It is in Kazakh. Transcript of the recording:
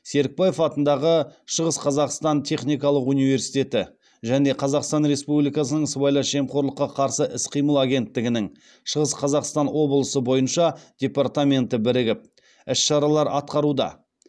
серікбаев атындағы шығыс қазақстан техникалық университеті және қазақстан республикасының сыбайлас жемқорлыққа қарсы іс қимыл агенттігінің шығыс қазақстан облысы бойынша департаменті бірігіп іс шаралар атқаруда